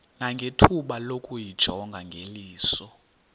nangethuba lokuyijonga ngeliso